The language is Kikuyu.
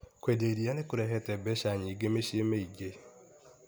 Kwendia iria nĩ kũrehete mbeca nyingĩ mĩciĩ mĩingĩ.